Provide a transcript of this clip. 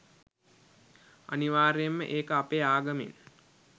අනිවාර්යෙන්ම ඒක අපේ ආගමෙන්